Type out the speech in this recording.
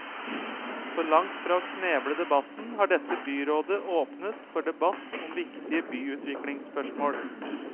Så langt fra å kneble debatten har dette byrådet åpnet for debatt om viktige byutviklingsspørsmål.